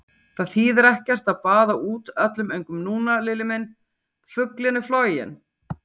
Það þýðir ekkert að baða út öllum öngum núna, Lilli minn, fuglinn er floginn!